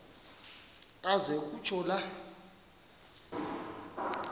aze kutsho la